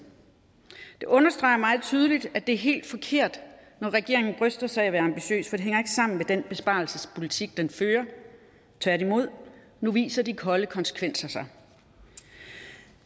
det understreger meget tydeligt at det er helt forkert når regeringen bryster sig af at være ambitiøs hænger ikke sammen med den besparelsespolitik den fører tværtimod nu viser de kolde konsekvenser sig